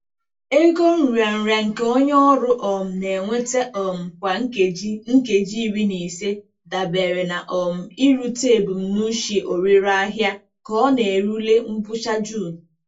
Ego nrịanrịa nke onye ọrụ um na-enweta um kwa nkeji nkeji iri na ise dabere na um irute ebumnuche ọrịre ahịa ka ọ na-erule ngwụcha June.